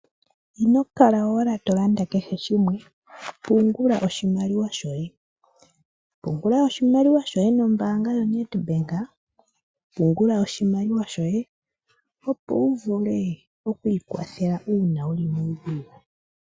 Ino kala owala to landa kehe shimwe, pungula oshimaliwa shoye. Pungula oshimaliwa nombaanga yoNedbank. Pungula oshimaliwa shoye, opo wu vule oku ikwathela una wuli muudhigu.